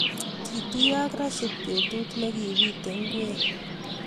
kituyo ak Rashid betut nekipitei ngwek